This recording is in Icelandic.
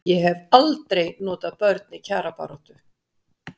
Hafa aldrei notað börn í kjarabaráttu